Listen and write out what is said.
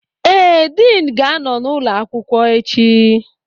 Ee, Din ga-anọ n'ụlọ akwụkwọ echi